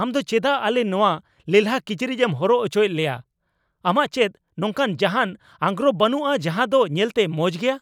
ᱟᱢ ᱫᱚ ᱪᱮᱫᱟᱜ ᱟᱞᱮ ᱱᱚᱣᱟ ᱞᱮᱞᱦᱟ ᱠᱤᱪᱨᱤᱡᱮᱢ ᱦᱚᱨᱚᱜ ᱚᱪᱚᱭᱮᱫ ᱞᱮᱭᱟ ? ᱟᱢᱟᱜ ᱪᱮᱫ ᱱᱚᱝᱠᱟᱱ ᱡᱟᱦᱟᱱ ᱟᱸᱜᱨᱚᱯ ᱵᱟᱹᱱᱩᱜᱼᱟ ᱡᱟᱦᱟ ᱫᱚ ᱧᱮᱞᱛᱮ ᱢᱚᱸᱡ ᱜᱮᱭᱟ ?